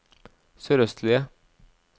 sørøstlige